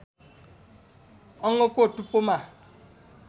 अङ्गको टुप्पोमा